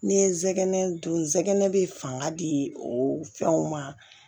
N'i ye zɛgɛnɛ dun nsɛgɛnɛ bɛ fanga di o fɛnw ma